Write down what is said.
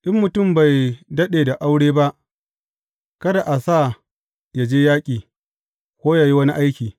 In mutum bai daɗe da aure ba, kada a sa yă je yaƙi, ko yă yi wani aiki.